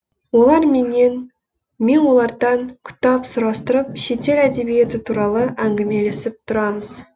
олар менен мен олардан кітап сұрастырып шетел әдебиеті туралы әңгімелесіп тұрамыз